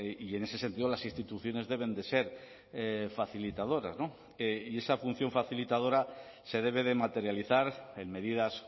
y en ese sentido las instituciones deben de ser facilitadoras y esa función facilitadora se debe de materializar en medidas